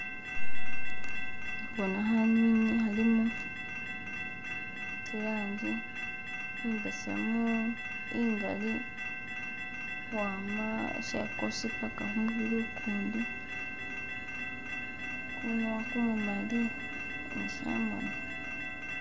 Khe khubona khanyunyi khalimu zi langi imbesemu ingali ukhwama chagosi paka khumubili ukundi gumunwa gumumali ni shi moni.